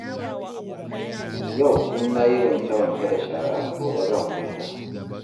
Yau in na yi wanke-wanke da shara, gobe zan huta.